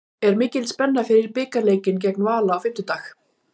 Er mikil spenna fyrir bikarleikinn gegn Val á fimmtudag?